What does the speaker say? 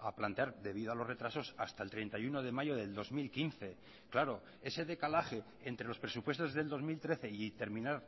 a plantear debido a los retrasos hasta el treinta y uno de mayo del dos mil quince claro ese decalaje entre los presupuestos del dos mil trece y terminar